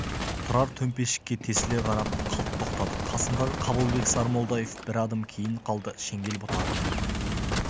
тұрар төмпешікке тесіле қарап қалт тоқтады қасындағы қабылбек сармолдаев бір адым кейін қалды шеңгел бұтағына ілініп